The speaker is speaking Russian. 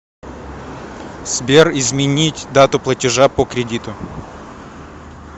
сбер изменить дату платежа по кредиту